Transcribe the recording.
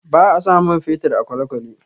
Ba a sa man fetur a kwalekwale